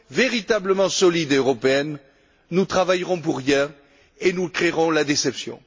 véritablement solides et européennes, nous travaillerons pour rien et nous créerons la déception.